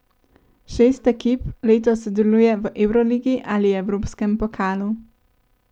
Šest ekip letos sodeluje v evroligi ali evropskem pokalu.